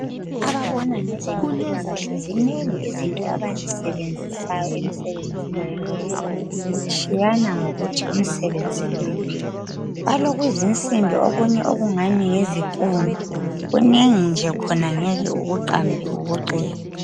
Ababona ngezempilakahle zinengi izinto abazisebenzisayo emsebenzini yabo kutshiyana ngokuthi umsebenzi nguwuphi. Balokuzinsimbi okunye okungani yizipunu kunengi nje khona ngeke ukuqambe ukuqede.